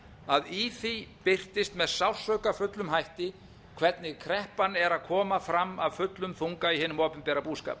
að í því birtist með sársaukafullum hætti hvernig kreppan er að koma fram af fullum þunga í hinum opinbera boðskap